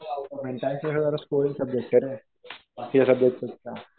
आणि टॅक्स म्हणजे जरा स्कोरिंग सब्जेक्ट आहे रे. बाकीच्या सब्जेक्ट पेक्षा.